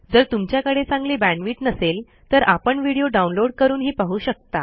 जर तुमच्याकडे चांगली बॅण्डविड्थ नसेल तर आपण व्हिडिओ डाउनलोड करूनही पाहू शकता